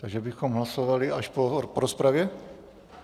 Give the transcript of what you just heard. Takže bychom hlasovali až po rozpravě?